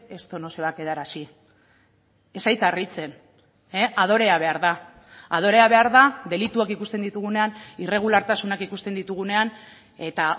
esto no se va a quedar así ez zait harritzen adorea behar da adorea behar da delituak ikusten ditugunean irregulartasunak ikusten ditugunean eta